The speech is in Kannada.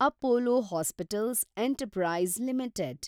Apollo hospitals enterprise limited